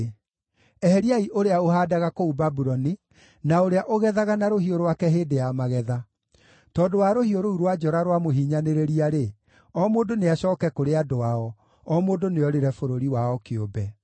Eheriai ũrĩa ũhaandaga kũu Babuloni, na ũrĩa ũgethaga na rũhiũ rwake hĩndĩ ya magetha. Tondũ wa rũhiũ rũu rwa njora rwa mũhinyanĩrĩria-rĩ, o mũndũ nĩacooke kũrĩ andũ ao, o mũndũ nĩorĩre bũrũri wao kĩũmbe.